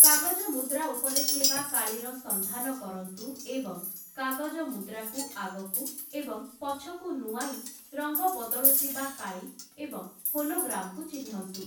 କାଗଜ ମୁଦ୍ରା ଉପରେ ଥିବା କାଳିର ସନ୍ଧାନ କରନ୍ତୁ ଏବଂ କାଗଜ ମୁଦ୍ରାକୁ ଆଗକୁ ଏବଂ ପଛକୁ ନୁଆଁଇ ରଙ୍ଗ ବଦଳୁଥିବା କାଳି ଏବଂ ହୋଲୋଗ୍ରାମ୍‌କୁ ଚିହ୍ନନ୍ତୁ ।